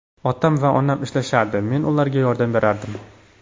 Otam va onam ishlashardi, men ularga yordam berardim.